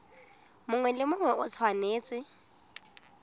mongwe le mongwe o tshwanetse